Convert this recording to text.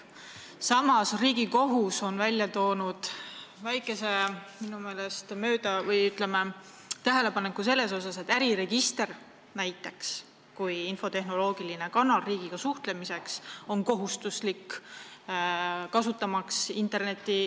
Samas on Riigikohus teinud tähelepaneku selle kohta, et äriregister on kohustuslik infotehnoloogiline kanal riigiga interneti teel suhtlemiseks.